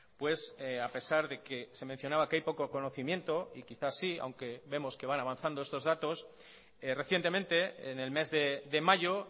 pues a pesar de que se mencionaba que hay poco conocimiento y quizás sí aunque vemos que van avanzando estos datos recientemente en el mes de mayo